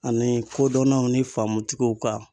Ani kodɔnnaw ni faamutigiw ka.